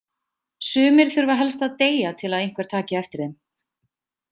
Sumir þurfa helst að deyja til að einhver taki eftir þeim.